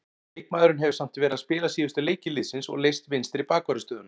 Leikmaðurinn hefur samt verið að spila síðustu leiki liðsins og leyst vinstri bakvarðarstöðuna.